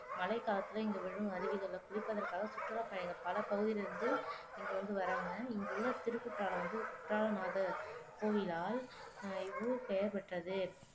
மழைக்காலத்தில இங்கு விழும் அருவிகளில் குளிப்பதற்காகச் சுற்றுலாப் பய பல பகுதிகளில இருந்து இங்க வந்து வர்றாங்க இங்குள்ள திருக்குற்றாலம் வந்து குற்றாலநாதர் கோயிலால் இவ்வூர் இப்பெயர் பெற்றது